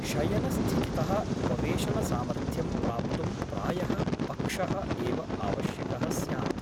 शयनस्थितितः उपवेशनसामर्थ्यं प्राप्तुं प्रायः पक्षः एव आवश्यकः स्यात् ।